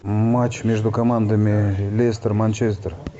матч между командами лестер манчестер